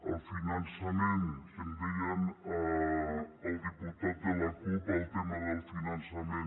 el finançament que em deia el diputat de la cup el tema del finançament